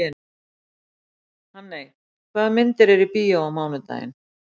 Hanney, hvaða myndir eru í bíó á mánudaginn?